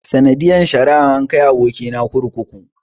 Sanadiyar sheri an kai aboki na kurkuku.